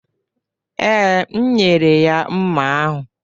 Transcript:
Ee, m nyere ya mma ahụ